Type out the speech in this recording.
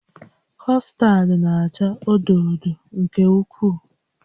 Custard na-acha odo odo nke ukwuu